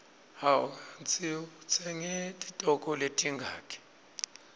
hawu kandzi utsenge titoko letingaki